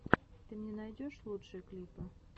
ты мне найдешь лучшие клипы